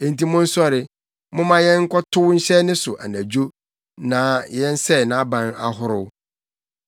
Enti monsɔre, momma yɛnkɔtow nhyɛ ne so anadwo na yɛnsɛe nʼaban ahorow!”